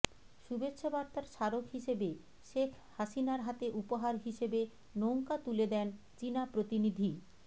শুভেচ্ছা বার্তার স্মারক হিসেবে শেখ হাসিনার হাতে উপহার হিসেবে নৌকা তুলে দেন চীনা প্রতিনিধি